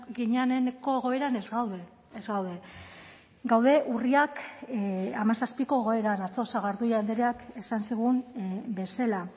gineneko egoeran ez gaude ez gaude gaude urriak hamazazpiko egoeran atzo sagardui andreak esan zigun bezala